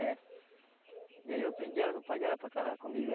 É. E aí eu pedi ela do pai dela para casar comigo.